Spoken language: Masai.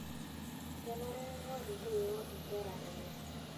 Kenare neingor ntoiwuo nkera enye.